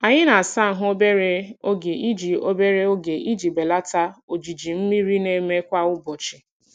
Anyị na-asa ahụ obere oge iji obere oge iji belata ojiji mmiri na-eme kwa ụbọchị.